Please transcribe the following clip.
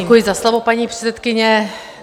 Děkuji za slovo, paní předsedkyně.